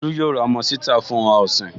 Tolú yóò ra ọmọ ṣítà fún ohun ọ̀sìn